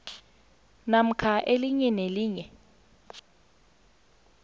namkha elinye nelinye